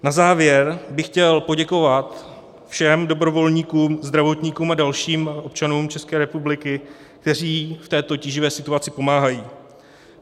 Na závěr bych chtěl poděkovat všem dobrovolníkům, zdravotníkům a dalším občanům České republiky, kteří v této tíživé situaci pomáhají.